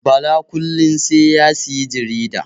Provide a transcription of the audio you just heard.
Bala kullin sai ya siyi jarida